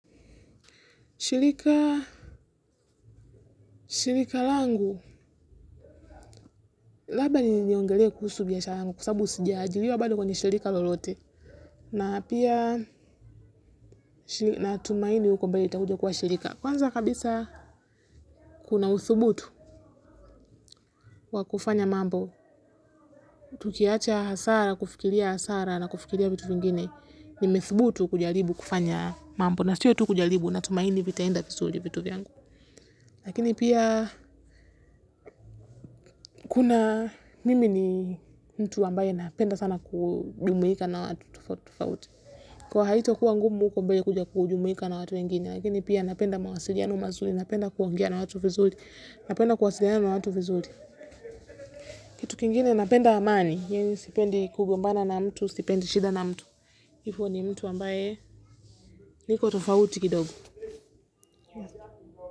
Shirika, shirika langu, labda niongelee kuhusu biashara yangu, kwa sabu sijaajiliwa bado kwenye shirika lolote. Na pia, natumaini huko mbele itakuja kuwa shirika. Kwanza kabisa, kuna usubutu wa kufanya mambo. Tukiacha hasara, kufikiria hasara na kufikiria vitu vingine, nimethubutu kujaribu kufanya mambo. Na siyo tu kujalibu, natumaini vitaenda visuli vitu vyangu. Lakini pia kuna mimi ni mtu ambaye napenda sana kujumuika na watu tofauti. Kwa hiyo haitakuwa ngumu huko mbele kuja kujumuika na watu wengine. Lakini pia napenda mawasiliano mazuli, napenda kuongea na watu vizuri, napenda kuwasiliana na watu vizuri. Kitu kingine napenda amani, yaani sipendi kugombana na mtu, sipendi shida na mtu. Ifo ni mtu ambaye niko tofauti kidogo.